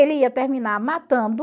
Ele ia terminar matando